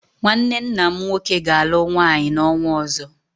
Nnwanne nna m nwoke ga-alụ nwaanyị n'ọnwa ọzọ.